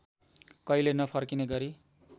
कहिले नफर्किने गरी